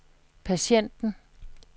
patienten